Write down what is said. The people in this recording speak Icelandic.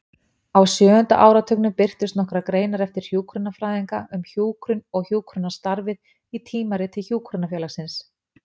Á sjöunda áratugnum birtust nokkrar greinar eftir hjúkrunarfræðinga um hjúkrun og hjúkrunarstarfið í Tímariti Hjúkrunarfélagsins.